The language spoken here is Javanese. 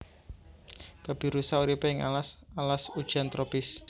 Babirusa uripe ing alas alas hujan tropis